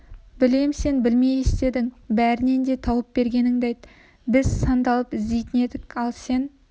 білем сен білмей істедің бәрінен де тауып бергеніңді айт біз сандалып іздейтін едік ал сен